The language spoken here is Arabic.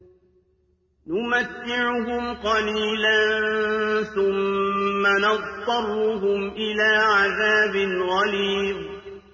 نُمَتِّعُهُمْ قَلِيلًا ثُمَّ نَضْطَرُّهُمْ إِلَىٰ عَذَابٍ غَلِيظٍ